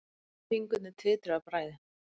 Fingurnir titruðu af bræði.